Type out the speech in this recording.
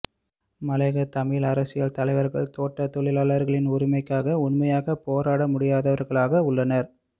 மலையக தமிழ் அரசியல் தலைவர்கள் தோட்ட தொழிலாளர்களின் உரிமைக்காக உண்மையாக போராட முடியாதவர்களாக உள்ளனர்